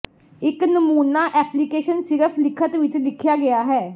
ਇੱਕ ਨਮੂਨਾ ਐਪਲੀਕੇਸ਼ਨ ਸਿਰਫ ਲਿਖਤ ਵਿੱਚ ਲਿਖਿਆ ਗਿਆ ਹੈ